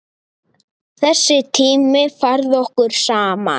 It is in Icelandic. Þessi tími færði okkur saman.